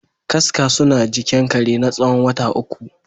Kaska suna jikin kare natsawon wata uku.